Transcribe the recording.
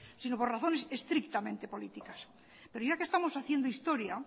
sino por razones estrictamente políticas pero ya que estamos haciendo historia